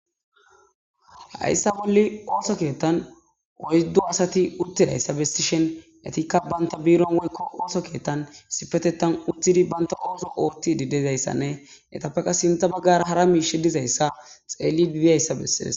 hayssa bolle ooso keettan woyddo asati uttidayssa bestishen etikka banta biron woykko ooso keettan sipetetan uttidi banta ooso ootti didezayssanne etappeqa sintha baggara hara miishe dizayssa xeelli dbiyayssa bessees